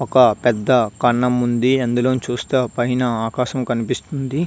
ఒక పెద్ద కన్నం ఉంది. అందులో నుంచి చూస్తే పైన ఆకాశం కనిపిస్తుంది.